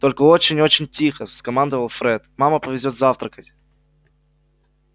только очень очень тихо скомандовал фред мама повезёт завтракать